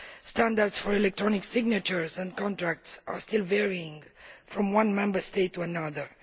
Standards for electronic signatures and contracts still vary from one Member State to another.